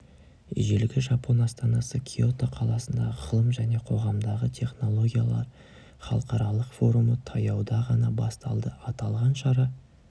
ежелгі жапон астанасы киото қаласында ғылым және қоғамдағы технологиялар халықаралық форумы таяуда ғана басталды аталған шара